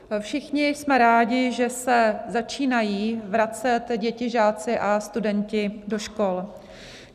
Všichni jsme rádi, že se začínají vracet děti, žáci a studenti do škol.